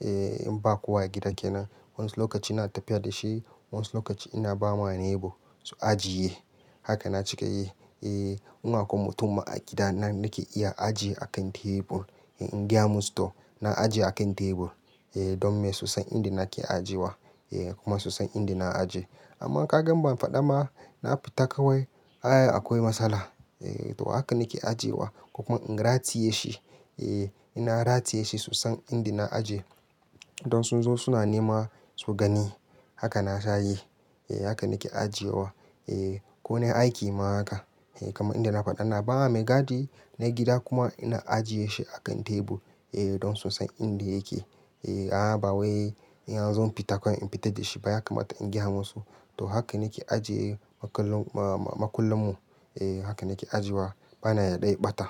Eh, in ba kowa a gida kenan. Wani lokaci ina tafiya da shi, wani lokaci ina ba ma neighbor su ajiye. Haka na cika yi. Eh, in akwai mutum ma a gida nan nake iya ajiye a kan tebur. In gaya musu to, na ajiye a kan tebur, eh, don me su san inda nake ajiyewa. Eh, kuma su san inda na ajiye. Amma ka ga ban faɗa ma, na fita kawai, a, akwai matsala. Eh to, haka nake ajiyewa. Ko kuma in rataye shi. Eh, ina rataye shi sun san inda na ajiye. Don su zo suna nema su gani. Haka na sha yi. Eh, haka nake ajiyewa. Eh, ko na aiki ma haka. Eh, kamar inda na faɗa ina bawa mai gadi na gida kuma ina ajiye shi a kan tebur, eh, don su san inda yake. Eh, a, ba wai in har zan fita kawai in fita da shi ba ya kamata in gaya musu. To, haka nake ajiye makullin, ma, makullan mu. Eh, haka nake ajiye wa. Bana yarda ya ɓata.